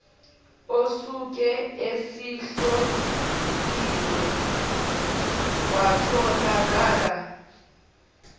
osuke esehloliwe kwatholakala